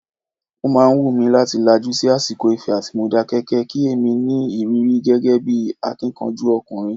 O máa wù mí láti lajú sí àsìkò Ifẹ̀ àti Modákẹ́kẹ́, kí èmi ní ìrírí gẹ́gẹ́ bí akíkanjú ọkùnrin.